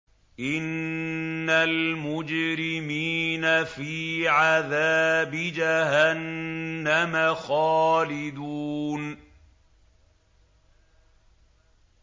إِنَّ الْمُجْرِمِينَ فِي عَذَابِ جَهَنَّمَ خَالِدُونَ